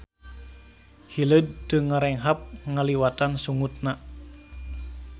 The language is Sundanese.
Hileud teu ngarenghap ngaliwatan sungutna.